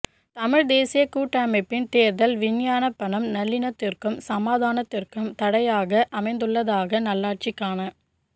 தமிழ் தேசிய கூட்டமைப்பின் தேர்தல் விஞ்ஞாபனம் நல்லி ணக்கத்திற்கும் சமாதானத்திற்கும் தடையாக அமைந்துள்ளதாக நல்லாட்சிக்கான